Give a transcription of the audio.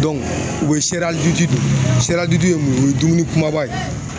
u be sɛri don sɛri ye mun ye ? O ye dumuni kumaba ye